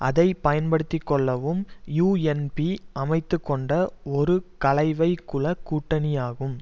அதை பயன்படுத்தி கொள்ளவும் யூஎன்பி அமைத்து கொண்ட ஒரு கலைவைக்கூள கூட்டணியாகும்